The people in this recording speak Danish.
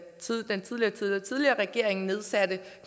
tidligere tidligere tidligere regering nedsatte den